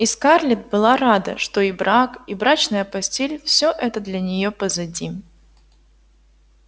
и скарлетт была рада что и брак и брачная постель-всё это для неё позади